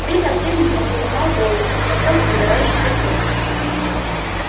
время от времени он поднимал голову и смотрел на догорающий костёр